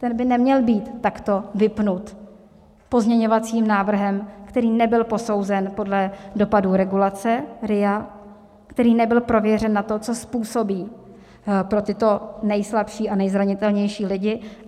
Ten by neměl být takto vypnut pozměňovacím návrhem, který nebyl posouzen podle dopadu regulace - RIA, který nebyl prověřen na to, co způsobí pro tyto nejslabší a nejzranitelnější lidi.